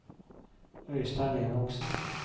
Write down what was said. Øystein Enoksen